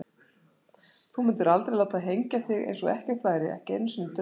Þú mundir aldrei láta hengja þig eins og ekkert væri, ekki einu sinni í draumi.